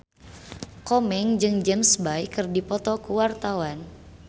Komeng jeung James Bay keur dipoto ku wartawan